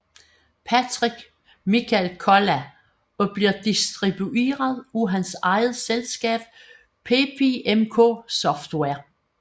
Patrick Michael Kolla og bliver distribueret af hans eget selskab PepiMK Software